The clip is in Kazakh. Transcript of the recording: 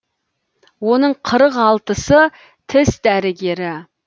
оның қырық алтысы тіс дәрігері